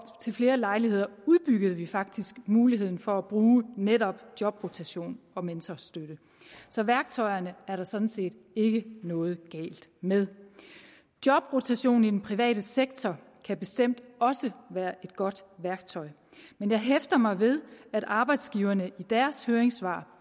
til flere lejligheder udbyggede vi faktisk muligheden for at bruge netop jobrotation og mentorstøtte så værktøjerne er der sådan set ikke noget galt med jobrotation i den private sektor kan bestemt også være et godt værktøj men jeg hæfter mig ved at arbejdsgiverne i deres høringssvar